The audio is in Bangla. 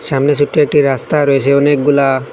সামনে ছোট্ট একটি রাস্তা রয়েছে অনেকগুলা--